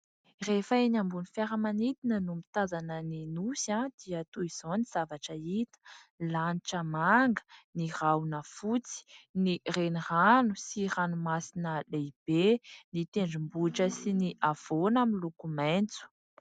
Rehefa eny ambony fiaramanidina no mitazana ny nosy dia toy izao ny zavatra hita : ny lanitra manga, ny rahona fotsy, ny renirano sy ranomasina lehibe, ny tendrombohitra sy ny havoana miloko maitso.